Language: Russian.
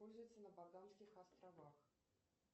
пользуются на багамских островах